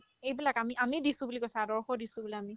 এইবিলাক আমি আমি দিছো বুলি কৈছে আদৰ্শ দিছো বোলে আমি